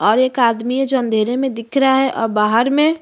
और एक आदमी है जो अँधेरे मैं दिख रहा है और बाहर में --